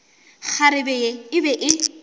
kgarebe ye e be e